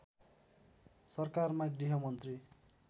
सरकारमा गृहमन्त्री